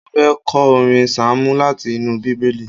Mo fẹ́ kọ orin sáàmù láti inú Bíbélì